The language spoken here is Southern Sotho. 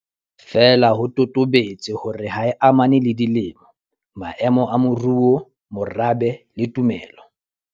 Feela ho totobetse hore ha e amane le dilemo, maemo a moruo, morabe le tumelo.